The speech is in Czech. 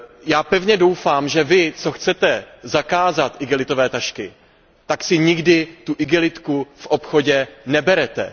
Já pevně doufám, že vy, co chcete zakázat igelitové tašky, tak si nikdy igelitovou tašku v obchodě neberete.